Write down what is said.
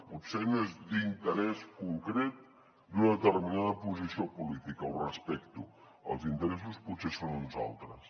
potser no és d’interès concret d’una determinada posició política ho respecto els interessos potser són uns altres